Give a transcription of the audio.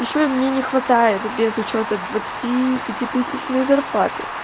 ещё и мне не хватает без учёта двадцати пятитысячной зарплаты